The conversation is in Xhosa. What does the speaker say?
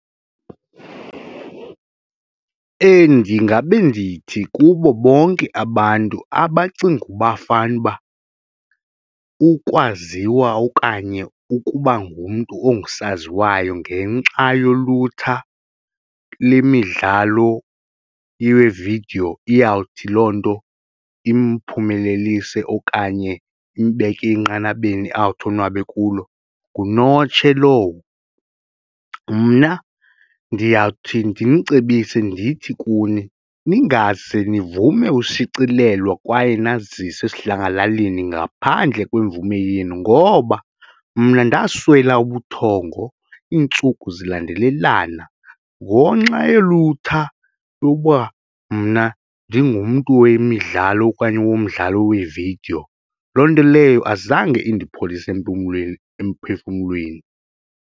Ndingabe ndithi kubo bonke abantu abacinga uba fanuba ukwaziwa okanye ukuba ngumntu ongusaziwayo ngenxa yolutsha lemidlalo yevidiyo iyawuthi loo nto imphumelelise okanye imbeke enqanabeni awuthi onwabe kulo ngunotshe lowo. Mna ndiyawuthi ndimcebise ndithi kuni ningaze nivume ushicilelwa kwaye naziswe esidlangalaleni ngaphandle kwemvume yenu ngoba mna ndaswela ubuthongo iintsuku zilandelelana ngoxa yolutha lokuba mna ndingumntu wemidlalo okanye womdlalo weevidiyo loo nto leyo azange indipholise empumlweni, emphefumlweni.